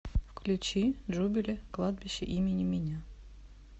включи джубили кладбище имени меня